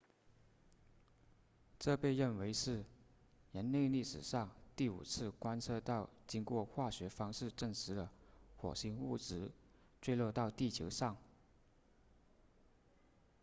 这被认为是人类历史上第五次观测到经过化学方式证实的火星物质坠落到地球上